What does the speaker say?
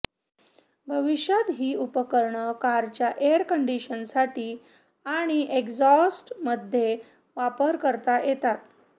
भविष्यात ही उपकरणं कारच्या एअर कंडिशनिंगसाठी आणि एक्झॉस्टमध्येही वापरता येऊ शकतात